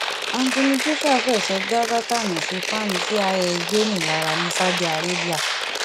anthony joshua f ẹsẹ dá bátànì sí fan cis dhinou lára ní saudi arabia